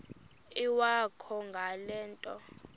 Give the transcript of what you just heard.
iwakho ngale nto